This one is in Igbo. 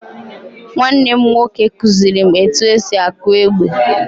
Nwanne m nwoke kuziri m etu esi akụ egbe.